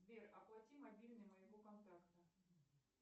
сбер оплати мобильный моего контакта